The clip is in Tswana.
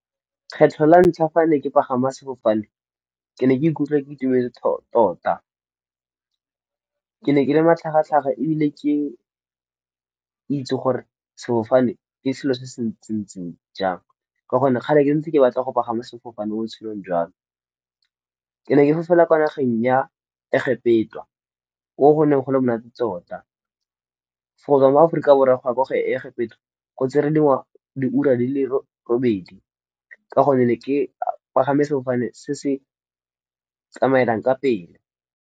Kgetlho la ntlha fa ne ke pagama sefofane ke ne ke ikutlwa ke itumetse tota. Ke ne ke le matlhagatlhaga ebile ke itse gore sefofane ke selo se se ntseng jang. Ka gonne kgale ntse ke batla go pagama sefofane mo botshelong jwa me. Ke ne ke fofela kwa nageng ya egepetwa, ko go ne go le monate tota. For-e mo aforika borwa go ya ko egepetwa go tse re diura di le robedi, ka gonne ne ke pagame sefofane se se tsamaelang ka pele.